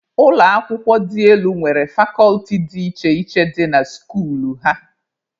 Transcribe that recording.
Ụlọ akwụkwọ dị elu nwere fakọlti dị iche iche dị na skuulu ha.